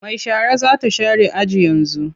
Mai shara za ta share aji yanzu.